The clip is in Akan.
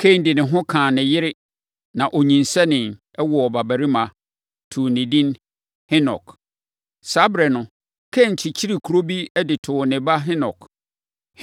Kain de ne ho kaa ne yere na ɔnyinsɛnee, woo ɔbabarima, too no edin Henok. Saa ɛberɛ no, Kain kyekyeree kuro bi de too ne ba Henok.